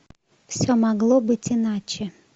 все могло быть иначе